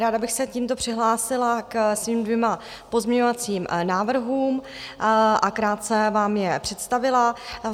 Ráda bych se tímto přihlásila ke svým dvěma pozměňovacím návrhům a krátce vám je představila.